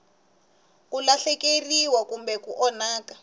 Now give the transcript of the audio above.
ku lahlekeriwa kumbe ku onhaka